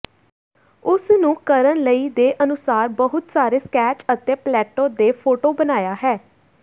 ਉਸ ਨੂੰ ਕਰਨ ਲਈ ਦੇ ਅਨੁਸਾਰ ਬਹੁਤ ਸਾਰੇ ਸਕੈਚ ਅਤੇ ਪਲੈਟੋ ਦੇ ਫੋਟੋ ਬਣਾਇਆ ਹੈ